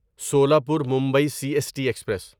Solapur Mumbai C S T express